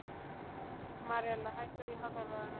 Marela, hækkaðu í hátalaranum.